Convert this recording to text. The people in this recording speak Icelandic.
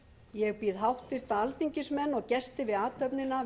ég býð háttvirta alþingismenn og gesti við athöfnina